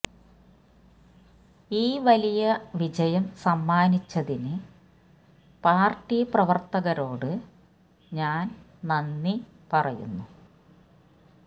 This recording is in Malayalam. ഈ വലിയ വിജയം സമ്മാനിച്ചതിന് പാര്ട്ടി പ്രവര്ത്തകരോട് ഞാന് നന്ദി പറയുന്നു